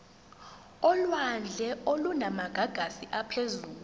olwandle olunamagagasi aphezulu